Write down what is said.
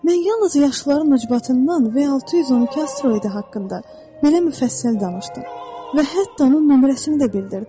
Mən yalnız yaşlıların üzbatından V612 asteroidi haqqında belə müfəssəl danışdım və hətta onun nömrəsini də bildirdim.